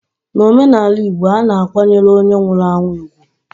N'omenaala Igbo, a na-akwanyere onye nwụrụ anwụ ugwu.